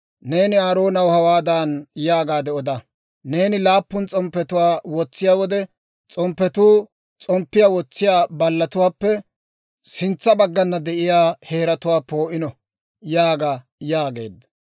«Neeni Aaroonaw hawaadan yaagaade oda; ‹Neeni laappun s'omppetuwaa wotsiyaa wode s'omppetuu s'omppiyaa wotsiyaa ballatuwaappe sintsa baggana de'iyaa heeratuwaa poo'iino› yaaga» yaageedda.